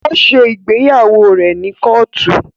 O ṣe ìgbéyàwó rẹ ni Kóòtù